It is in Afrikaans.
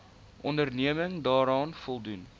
onderneming daaraan voldoen